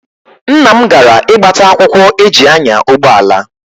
Nna m gara ịgbata akwụkwọ eji anya ụgbọala.